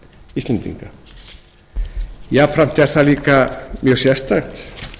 íslendinga jafnframt er það líka mjög sérstakt